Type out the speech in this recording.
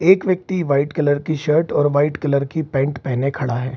एक व्यक्ति white colour की शर्ट और वाइट कलर की पैंट पहने हुए खड़ा है।